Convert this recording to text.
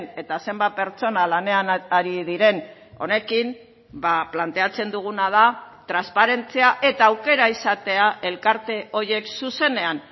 eta zenbat pertsona lanean ari diren honekin planteatzen duguna da transparentzia eta aukera izatea elkarte horiek zuzenean